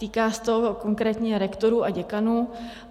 Týká se to konkrétně rektorů a děkanů.